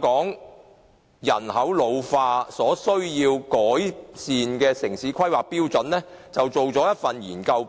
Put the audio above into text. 港人口老化而需要改善的城市規劃標準的研究報告。